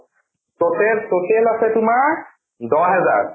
total total আছে তোমাৰ দহ হেজাৰ।